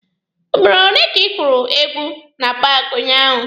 Ugboro ole ka ị gwuru egwu na paaki unyaahụ?